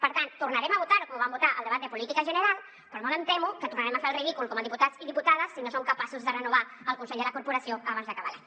per tant tornarem a votar ho com ho vam votar al debat de política general però molt em temo que tornarem a fer el ridícul com a diputats i diputades si no som capaços de renovar el consell de la corporació abans d’acabar l’any